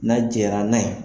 N'a jɛra n'a ye,